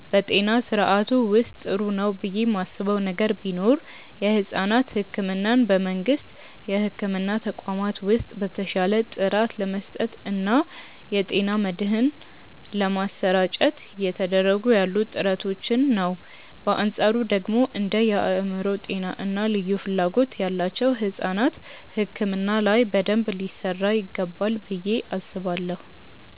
በጤና ስርዓቱ ውስጥ ጥሩ ነው ብዬ ማስበው ነገር ቢኖር የሕፃናት ሕክምናን በመንግስት የሕክምና ተቋማት ውስጥ በተሻለ ጥራት ለመስጠት እና የጤና መድህን ለማሰራጨት እየተደረጉ ያሉ ጥረቶችን ነው። በአንፃሩ ደግሞ እንደ የአእምሮ ጤና እና ልዩ ፍላጎት ያላቸው ሕፃናት ሕክምና ላይ በደንብ ሊሰራ ይገባል ብዬ አስባለሁ።